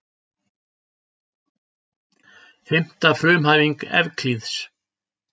Fimmta frumhæfing Evklíðs.